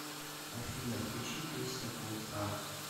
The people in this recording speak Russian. афина включи песня пулсар